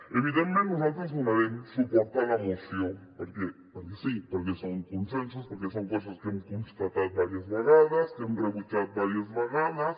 evidentment nosaltres donarem suport a la moció perquè sí perquè són consensos perquè són coses que hem constatat diverses vegades que hem rebutjat diverses vegades